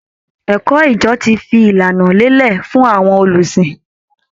Ẹ̀kọ́ ìjọ ti fi ìlànà lélẹ̀ fún àwọn olùsìn